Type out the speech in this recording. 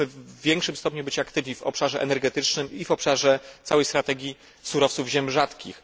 Powinniśmy być w większym stopniu aktywni w obszarze energetycznym i w obszarze całej strategii surowców ziem rzadkich.